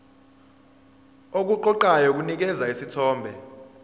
okuqoqayo kunikeza isithombe